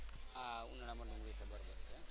હા ઉનાળા માં ડુંગળી